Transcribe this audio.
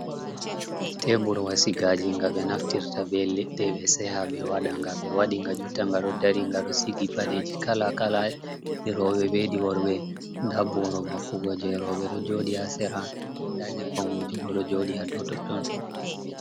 Teburwa sigaji ga be naftirta be leɗɗe be seha be waɗa nga. Be waɗi nga jotta nga ɗo ɗari. Nga ɗo sigi paɗeji kala kala. Ɗi robe beɗi worbe. Nɗa boro vakkugo je robe ɗo joɗi ha sera. Nɗa nyebam wujugo ɗo joɗi ha ɗow totton.